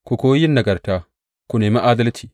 Ku koyi yin nagarta; ku nemi adalci.